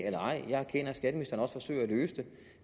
eller ej jeg erkender at skatteministeren også forsøger at løse det